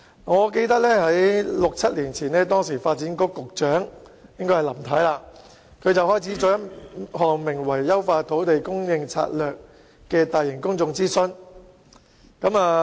我記得在六七年前，時任發展局局長林太，展開了名為"優化土地供應策略"的大型公眾諮詢。